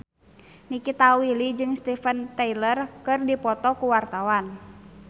Nikita Willy jeung Steven Tyler keur dipoto ku wartawan